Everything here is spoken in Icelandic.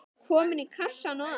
Komin í kassann og allt.